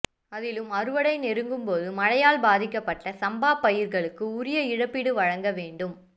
அதிலும் அறுவடை நெருங்கும்போது மழையால் பாதிக்கப்பட்ட சம்பா பயிர்களுக்கு உரிய இழப்பீடு வழங்க வேண்டும்